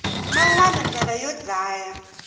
man wana ndlela yo dlaya